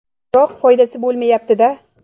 Biroq foydasi bo‘lmayapti-da.